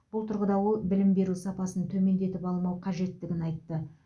бұл тұрғыда ол білім беру сапасын төмендетіп алмау қажеттігін айтты